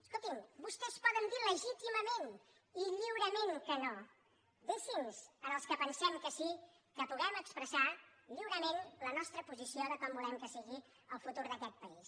escoltin vostès poden dir legítimament i lliurement que no deixi’ns als que pensem que sí que puguem expressar lliurement la nostra posició de com volem que sigui el futur d’aquest país